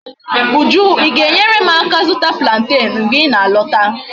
Uju I ga enwere m aka zuta plantain mgbe I na alota?